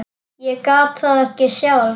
Ég gat það ekki sjálf.